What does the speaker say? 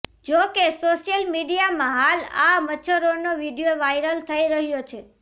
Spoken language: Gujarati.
જો કે સોશિયલ મીડિયામાં હાલ આ મચ્છરોનો વીડિયો વાયરલ થઈ રહ્યો છે